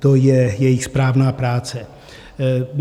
To je jejich správná práce.